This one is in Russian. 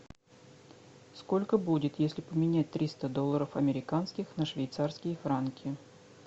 сколько будет если поменять триста долларов американских на швейцарские франки